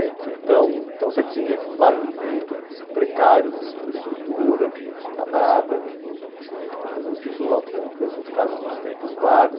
Então, então você tinha esses bairros muito precários de infraestrutura, que não tinha nada, que às vezes as pessoas autoconstruíram essas casas nos tempos vagos.